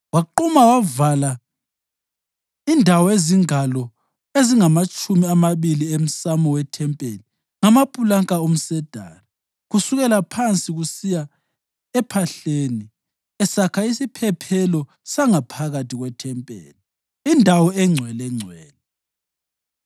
Waquma wavala indawo ezingalo ezingamatshumi amabili emsamo wethempeli ngamapulanka omsedari kusukela phansi kusiya ephahleni esakha isiphephelo sangaphakathi kwethempeli, iNdawo eNgcwelengcwele.